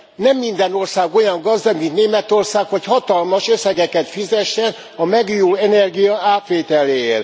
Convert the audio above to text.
Nem minden ország olyan gazdag, mint Németország, hogy hatalmas összeget fizessen a megújuló energia átvételéért.